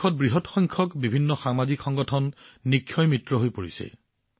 দেশত বৃহৎ সংখ্যক বিভিন্ন সামাজিক সংগঠন নিক্ষয় মিত্ৰ হৈ পৰিছে